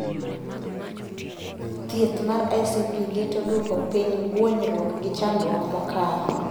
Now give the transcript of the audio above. Thieth mar ICP geto duoko piny guonyruok gi chandruok mokalo